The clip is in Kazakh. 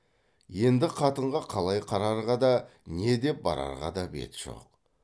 енді қатынға қалай қарарға да не деп барарға да бет жоқ